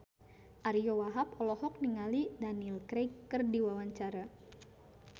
Ariyo Wahab olohok ningali Daniel Craig keur diwawancara